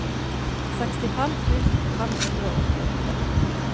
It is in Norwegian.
sekstifem tusen fem hundre og åttiåtte